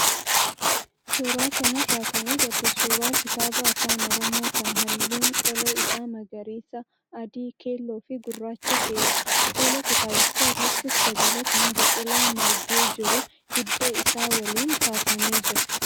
Suuraa kanarraa kan agarru suuraa kitaaba afaan orommoo kan halluun qola isaa magariisa, adii, keelloo fi gurraacha ta'edha. Fuula kitaabichaa irrattis dabalataan biqilaa margee jiru hidda isaa waliin kaafamee jira.